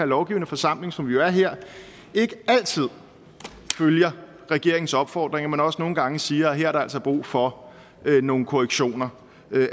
lovgivende forsamling som vi jo er her ikke altid følger regeringens opfordringer men også nogle gange siger at her er der altså brug for nogle korrektioner